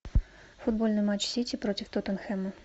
футбольный матч сити против тоттенхэма